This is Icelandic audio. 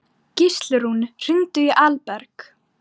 Gíslrún, hringdu í Alberg.